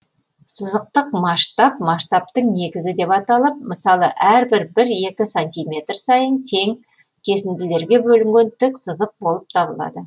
сызықтық масштаб масштабтың негізі деп аталып мысалы әрбір бір екі сантиметр сайын тең кесіңділерге бөлінген тік сызық болып табылады